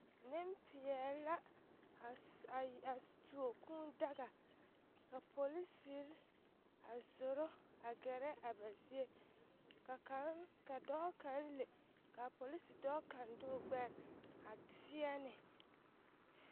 Nempeɛle la a tuo kūūdaga ka polisiri a tuuro a ɡɛrɛ ba zie ka dɔɔ kaŋ le ka a polisi dɔɔ kaŋ de o ɡbɛr a teɛ ne.